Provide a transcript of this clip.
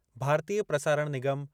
भारतीय प्रसारण निगम